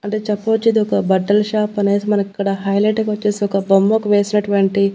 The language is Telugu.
అంటే చెప్పవచ్చు ఇదొక బట్టల షాప్ అనేసి మనకిక్కడ హైలైట్ గా వచ్చేసి ఒక బొమ్మకు వేసినటువంటి.